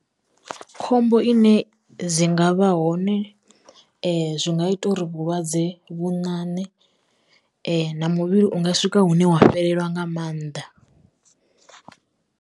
Khombo ine dzi ngavha hone zwi nga ita uri vhulwadze vhoṋaṋe na muvhili unga swika hune wa fhelelwa nga maanḓa.